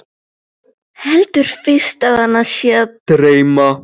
Heldur fyrst að hana sé að dreyma.